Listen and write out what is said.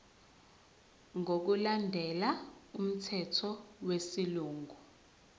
ngokulandela umthetho wesilungu